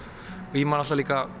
og ég man alltaf líka